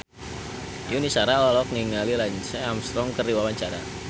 Yuni Shara olohok ningali Lance Armstrong keur diwawancara